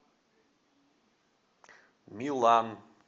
милан